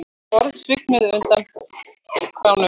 Borð svignuðu undan krásum